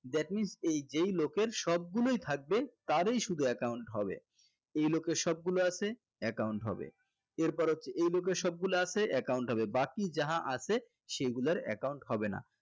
that means এই যেই লোকের সবগুলোই থাকবে তারই শুধু account হবে এই লোকের সবগুলো আছে account হবে এরপর হচ্ছে এই লোকের সবগুলো আছে account হবে বাকি যাহা আছে সেগুলার account হবে না